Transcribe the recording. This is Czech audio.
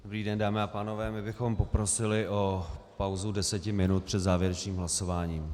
Dobrý den, dámy a pánové, my bychom poprosili o pauzu deseti minut před závěrečným hlasováním.